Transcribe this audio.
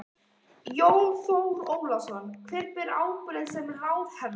Jón Þór Ólafsson: Hver ber ábyrgð sem ráðherra?